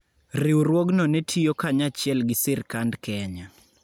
Riwruogno ne tiyo kanyachiel gi sirkand Kenya.